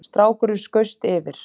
Strákurinn skaust yfir